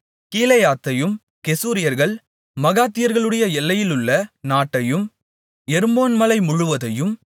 கீலேயாத்தையும் கெசூரியர்கள் மாகாத்தியர்களுடைய எல்லையிலுள்ள நாட்டையும் எர்மோன் மலை முழுவதையும்